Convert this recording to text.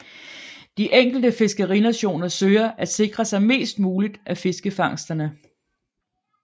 De enkelte fiskerinationer søger at sikre sig mest muligt af fiskefangsterne